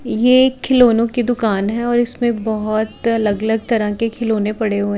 ये एक खिलौनों की दुकान है और उसमें बहोत अलग अलग तरह के खिलौने पड़े हुए--